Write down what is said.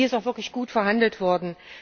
Hier ist auch wirklich gut verhandelt worden.